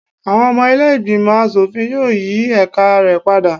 Àwọn ọmọ ilé ìgbìmọ̀ aṣòfin yóò yí ẹ̀ka rẹ padà